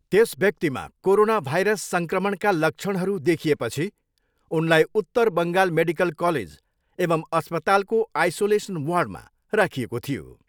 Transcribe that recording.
त्यस व्यक्तिमा corona virus सङ्क्रमणका लक्षणहरू देखिएपछि उनलाई उत्तर बङ्गाल मेडिकल कलेज एवम् अस्पतालको आइसोलेसन वार्डमा राखिएको थियो।